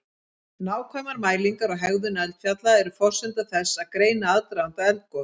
Nákvæmar mælingar á hegðun eldfjalla eru forsenda þess að greina aðdraganda eldgos.